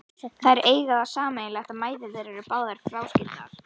Þær eiga það sameiginlegt að mæður þeirra eru báðar fráskildar.